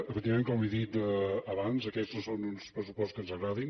efectivament com he dit abans aquests no són uns pressupostos que ens agradin